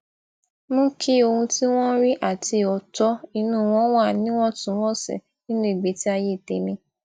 mú kí ohun tí wón ń rí àti òótó inú wọn wà níwòntúnwònsì nínú ìgbésí ayé tèmí